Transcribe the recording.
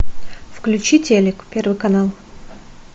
включи телек первый канал